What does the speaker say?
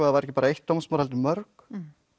það væri ekki bara eitt dómsmál heldur mörg